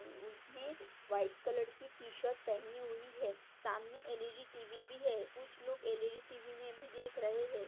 उ उ उसने व्हाइट कलर की टी शर्ट पहनी हुई है सामने ई डी टीवी भी है कुछ लोग एल ई डी टीवी मे भी देख रहे है।